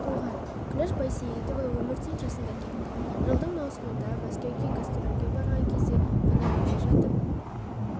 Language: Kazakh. туған күләш байсейітова өмірден жасында кетті жылдың маусымында мәскеуге гастрольге барған кезінде қонақ үйде жатып